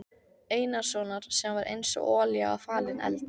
Einarssonar sem var einsog olía á falinn eld.